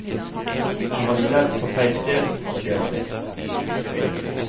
Han hadde ledd på feil sted, og det var det.